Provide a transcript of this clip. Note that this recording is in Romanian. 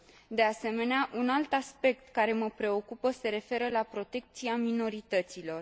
De asemenea, un alt aspect care mă preocupă se referă la protecția minorităților.